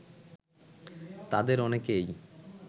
তাঁদের অনেকেই